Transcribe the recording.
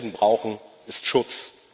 Was Helden brauchen, ist Schutz.